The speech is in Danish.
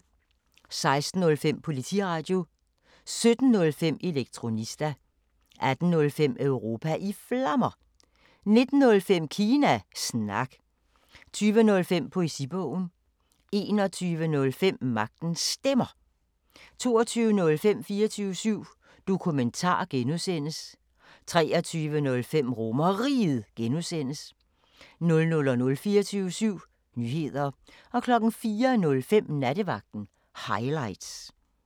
16:05: Politiradio 17:05: Elektronista 18:05: Europa i Flammer 19:05: Kina Snak 20:05: Poesibogen 21:05: Magtens Stemmer 22:05: 24syv Dokumentar (G) 23:05: RomerRiget (G) 00:00: 24syv Nyheder 04:05: Nattevagten Highlights